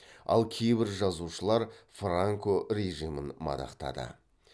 ал кейбір жазушылар франко режимін мадақтады